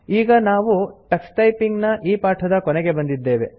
ಈಗ ನಾವು Tux typing ನ ಈ ಪಾಠದ ಕೊನೆಗೆ ಬಂದಿದ್ದೇವೆ